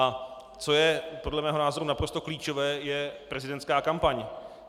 A co je podle mého názoru naprosto klíčové, je prezidentská kampaň.